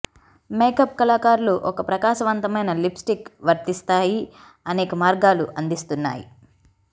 makeup కళాకారులు ఒక ప్రకాశవంతమైన లిప్స్టిక్ వర్తిస్తాయి అనేక మార్గాలు అందిస్తున్నాయి